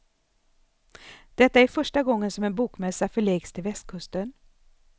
Detta är första gången som en bomässa förläggs till västkusten.